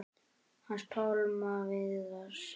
Hans Pálma Viðars.